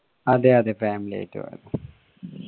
അതെ അതെ family ആയിട്ട് പോയതാ